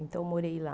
Então eu morei lá.